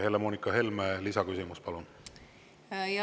Helle-Moonika Helme, lisaküsimus, palun!